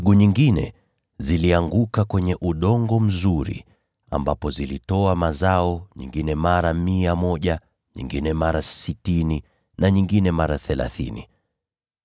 Mbegu nyingine zilianguka kwenye udongo mzuri ambapo zilitoa mazao, nyingine mara mia moja, nyingine mara sitini, na nyingine mara thelathini.